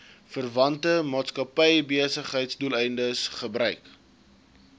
verwante maatskappybesigheidsdoeleindes gebruik